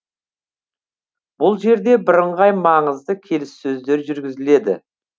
бұл жерде бірыңғай маңызды келіссөздер жүргізіледі